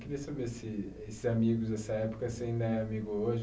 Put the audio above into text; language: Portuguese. Queria saber se esses amigos dessa época, você ainda é amigo hoje?